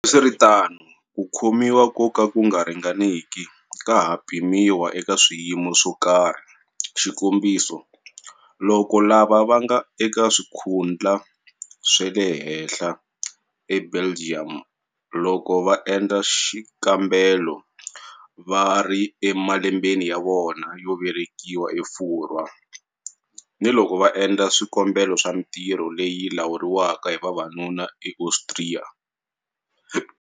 Hambiswiritano, ku khomiwa ko ka ku nga ringaniki ka ha pimiwa eka swiyimo swo karhi, xikombiso, loko lava lavaka va kona va endla xikombelo xa swikhundlha swa le henhla eBelgium, loko va endla xikambelo loko va ri emalembeni ya vona yo veleka eFurwa, ni loko va endla swikombelo swa mintirho leyi lawuriwaka hi vavanuna eAustria.